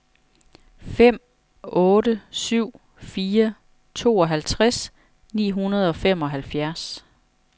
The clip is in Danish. fem otte syv fire tooghalvtreds ni hundrede og femoghalvfjerds